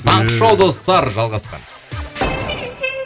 таңғы шоу достар жалғастырамыз